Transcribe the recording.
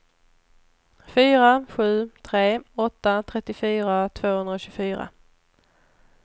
fyra sju tre åtta trettiofyra tvåhundratjugofyra